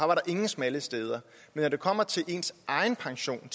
var der ingen smalle steder men når det kommer til ens egen pension og